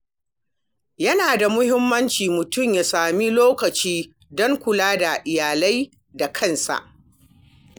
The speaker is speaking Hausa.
Yana da muhimmanci mutum ya sami lokaci don kula da iyali da kansa.